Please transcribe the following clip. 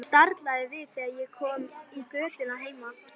Ég staldraði við þegar ég kom í götuna heima.